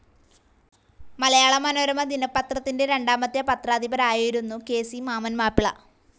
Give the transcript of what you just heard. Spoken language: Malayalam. മലയാള മനോരമ ദിനപത്രത്തിൻ്റെ രണ്ടാമത്തെ പത്രാധിപരായിരുന്നു കെ.സി. മാമ്മൻ മാപ്പിള.